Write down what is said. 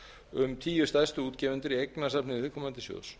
um tíu stærstu útgefendur í eignasafni viðkomandi sjóðs